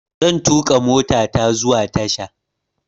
Zan tuƙa motata zuwa tasha.